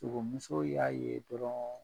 Sogomuso y'a ye dɔrɔn